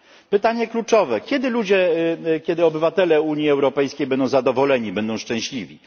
Pytanie kluczowe kiedy ludzie, kiedy obywatele Unii Europejskiej będą zadowoleni, będą szczęśliwi?